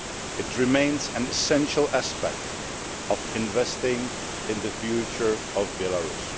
It remains an essential aspect of investing in the future of Belarus.